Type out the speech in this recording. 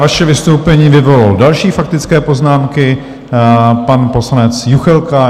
Vaše vystoupení vyvolalo další faktické poznámky, pan poslanec Juchelka.